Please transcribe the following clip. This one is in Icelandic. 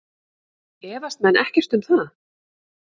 Efast menn ekkert um það?